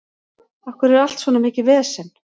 Af hverju er allt svona mikið vesen?